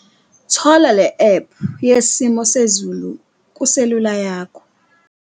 Thola le-app yesimo sezulu kuselula yakho